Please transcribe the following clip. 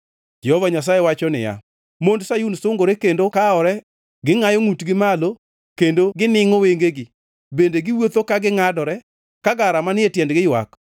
Jehova Nyasaye wacho niya, “Mond Sayun sungore kendo kawore, gingʼayo ngʼutgi malo, kendo giningʼo wengegi. Bende giwuotho ka gingʼadore, ka gara manie tiendgi ywak.